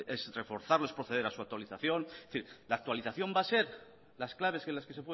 es reforzarlo es proceder a su actualización es decir la actualización va a ser las claves en las que